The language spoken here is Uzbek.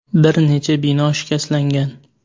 Bir necha bino shikastlangan.